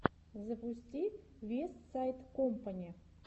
запусти вестсайд компани